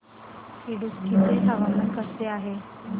इडुक्की चे हवामान कसे आहे